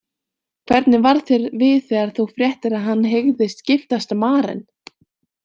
Hvernig varð þér við þegar þú fréttir að hann hygðist giftast Maren?